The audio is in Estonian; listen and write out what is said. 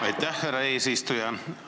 Aitäh, härra eesistuja!